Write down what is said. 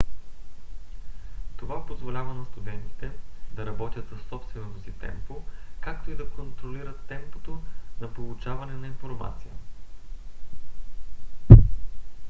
това позволява на студентите да работят със собственото си темпо както и да контролират темпото на получаване на информация